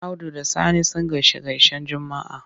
Audu da Sani sun gaishe-gaishen Juma'a.